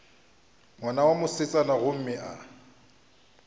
ngwana wa mosetsana gomme a